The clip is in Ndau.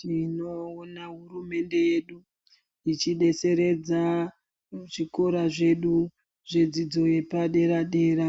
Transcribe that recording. Tinoona hurumende yedu ichidetseredza kuzvikora zvedu zvedzidzo yepadera-dera,